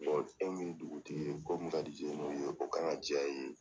E mi ye dugutigi ye, ko min ka di ye, o kan ka diya i ye.